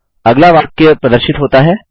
अगला वाक्य प्रदर्शित होता है